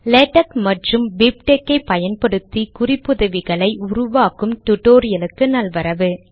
LaTeX மற்றும் BibTeX ஐ பயன்படுத்தி குறிப்புதவிகள் ஐ உருவாக்கும் டுடோரியலுக்கு நல்வரவு